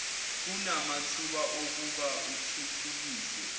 kunamathuba okuba uthuthukiswe